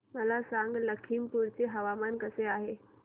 मला सांगा लखीमपुर चे हवामान कसे आहे